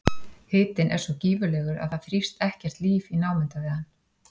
Hitinn er svo gífurlegur að það þrífst ekkert líf í námunda við hann.